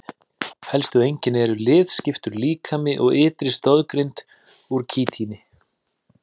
Helstu einkenni eru liðskiptur líkami og ytri stoðgrind úr kítíni.